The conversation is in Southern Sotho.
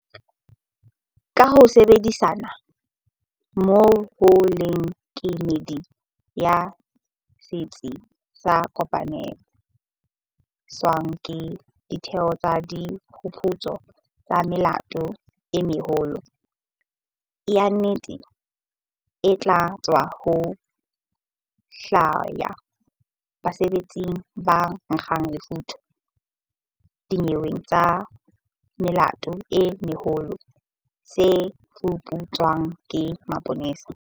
Ka ho sebedisana mmoho le kemedi ya Setsi se Kopanetsweng ke Ditheo tsa Diphuputso tsa Melato e Meholo, yuniti e tla thusa ho hlwaya basebetsi ba nkgang lefotha dinyeweng tsa melato e meholo tse fuputswang ke maponesa.